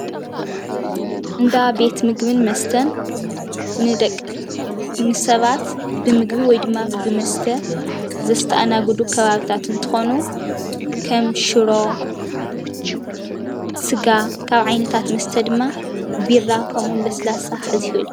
እንዳ ቤት ምግብን መስተን ንሰባት ብምግቢ ወይ ድማ ብመስተ ዘስተኣናግዱ ከባቢታት እንትኾኑ ከም ሽሮ ስጋ ካብ ዓይነታት መስተ ድማ ቢራ ከምኡ ዉን ለስላሳ ክሕዝ ይኽእል እዪ።